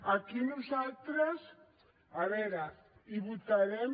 aquí nosaltres a veure hi votarem